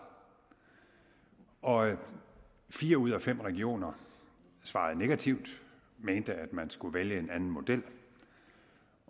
og fire ud af fem regioner svarede negativt og mente at man skulle vælge en anden model